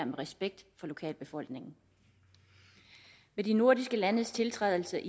med respekt for lokalbefolkningen ved de nordiske landes tiltrædelse